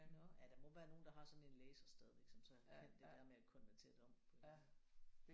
Nåh ja der må være nogen der har sådan en læser stadigvæk som så kan det der med konvertere det om